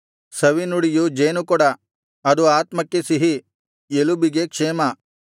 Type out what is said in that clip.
ಸವಿನುಡಿಯು ಜೇನುಕೊಡ ಅದು ಆತ್ಮಕ್ಕೆ ಸಿಹಿ ಎಲುಬಿಗೆ ಕ್ಷೇಮ